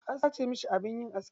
An sace masa abin yin aski.